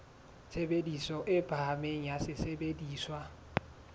tshebediso e phahameng ya sesebediswa